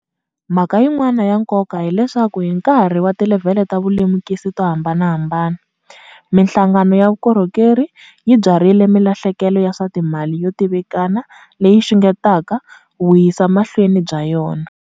Mhaka yin'wana ya nkoka hileswaku hi nkarhi wa tilevhele ta vulemukisi to ha mbanahambana, mihlangano ya vukhongeri yi byarhile milahlekelo ya swa timali yo tivikana leyi yi xungetaka vuyisekamahlweni bya yona.